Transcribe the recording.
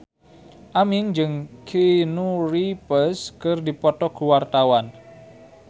Aming jeung Keanu Reeves keur dipoto ku wartawan